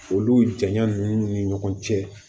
Olu janya ninnu ni ɲɔgɔn cɛ